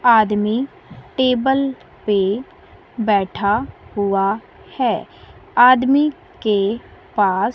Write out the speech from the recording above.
आदमी टेबल पे बैठा हुआ है आदमी के पास--